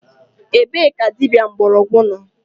Ebe ka dịbịa mgborogwu nọ?